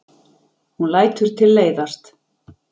Hún lætur tilleiðast.